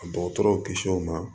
A dɔgɔtɔrɔw kisi o ma